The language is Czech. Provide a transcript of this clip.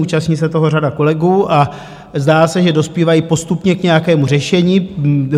Účastní se toho řada kolegů a zdá se, že dospívají postupně k nějakému řešení.